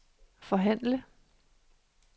forhandle